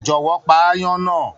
Jọwọ, pá aáyán náà!